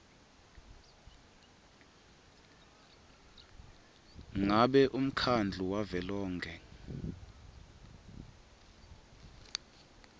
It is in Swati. ngabe umkhandlu wavelonkhe